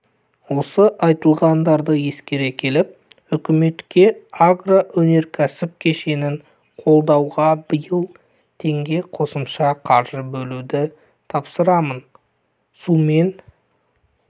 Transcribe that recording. осы айтылғандарды ескере келіп үкіметке агроөнеркәсіп кешенін қолдауға биыл теңге қосымша қаржы бөлуді тапсырамын сумен